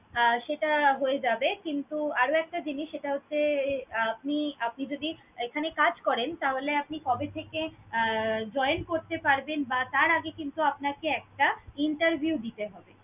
আহ সেটা হয়ে যাবে কিন্তু আরও একটা জিনিস সেটা হচ্ছে আপনি~ আপনি যদি এখানে কাজ করেন, তাহলে আপনি কবে থেকে আহ join করতে পারবেন বা তার আগে কিন্তু আপনাকে একটা interview দিতে হবে।